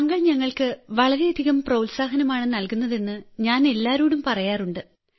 താങ്കൾ ഞങ്ങൾക്ക് വളരെയധികം പ്രോത്സാഹനമാണ് നല്കുന്നതെന്ന് ഞാൻ എല്ലാവരോടും പറയാറുണ്ട്